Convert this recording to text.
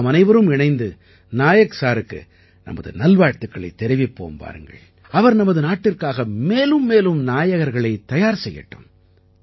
நாமனைவரும் இணைந்து நாயக் சாருக்கு நமது நல்வாழ்த்துகளைத் தெரிவிப்போம் வாருங்கள் அவர் நமது நாட்டிற்காக மேலும் மேலும் நாயகர்களைத் தயார் செய்யட்டும்